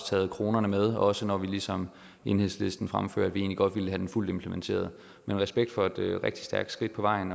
taget kronerne med også når vi ligesom enhedslisten fremfører at vi egentlig godt ville have den fuldt implementeret men respekt for at det er et rigtig stærkt skridt på vejen